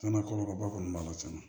Cɛna kɔlɔlɔba kɔni b'a la tiɲɛ na